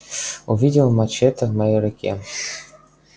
увидел мачете в моей руке